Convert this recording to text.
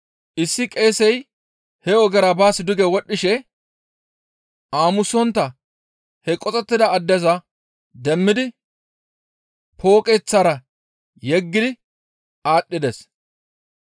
Issi qeesey he ogera baas duge wodhdhishe aamunsontta he qoxettida addeza demmidi pooqeththara yeggi aadhdhides.